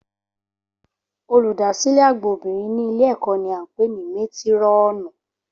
Olùdásílẹ̀ àgbà obìnrin ní ìlé ẹ̀kọ́ ni a ń pè ní métírọ̀nù